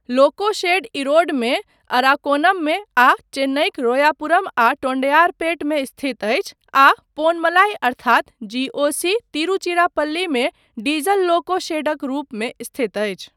लोको शेड इरोडमे, अराकोनममे आ चेन्नइक रोयापुरम आ टोंडैयारपेट मे स्थित अछि आ पोनमलाइ अर्थात जी.ओ.सी. तिरुचिरापल्लीमे डीजल लोको शेडक रूपमे स्थित अछि।